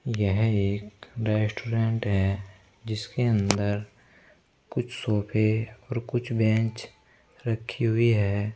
यह एक रेस्टोरेंट है जिसके अंदर कुछ सोफे और कुछ बेंच रखी हुई है।